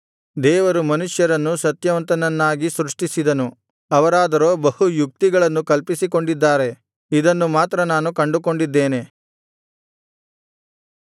ದೇವರು ಮನುಷ್ಯರನ್ನು ಸತ್ಯವಂತನನ್ನಾಗಿ ಸೃಷ್ಟಿಸಿದನು ಅವರಾದರೋ ಬಹು ಯುಕ್ತಿಗಳನ್ನು ಕಲ್ಪಿಸಿಕೊಂಡಿದ್ದಾರೆ ಇದನ್ನು ಮಾತ್ರ ನಾನು ಕಂಡುಕೊಂಡಿದ್ದೇನೆ